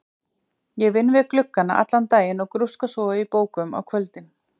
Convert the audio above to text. Ég vinn við gluggana allan daginn og grúska svo í bókum á kvöldin.